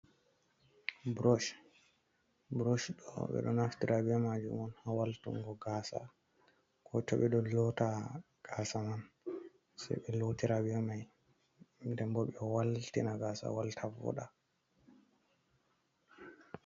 Brosh, brosh ɗo ɓeɗo naftira be majum on ha waltungo gasa, ko toɓe ɗo lotta gasa man se ɓe lotira bi mai, den bo ɓe waltina gasa walta voɗa.